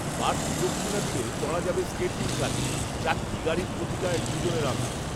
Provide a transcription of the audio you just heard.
বাড়তি দক্ষিণা দিলে চড়া যাবে স্কেটিং কারে, চারটে গাড়ির প্রতিটায় দুজনের আসন